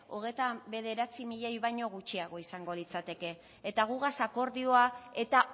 hogeita bederatzi milioi baina gutxiago izango litzateke eta gugaz akordioa eta